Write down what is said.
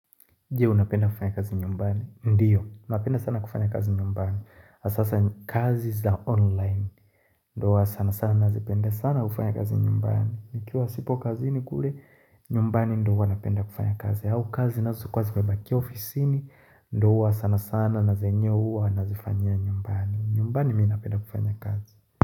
Je, napenda kufanya kazi nyumbani? Ndiyo, napenda sana kufanya kazi nyumbani. Asasa kazi za online. Ndo huwa sana sana nazipenda sana kufanya kazi nyumbani. Nikiwa sipo kazini kule nyumbani ndo huwa napenda kufanya kazi. Au kazi zinazokuwa zimebakia ofisini ndo huwa sana sana na zenye huwa nazifanyia nyumbani. Nyumbani mi napenda kufanya kazi.